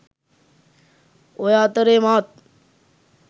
ඔය අතරේ මාත්